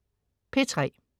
P3: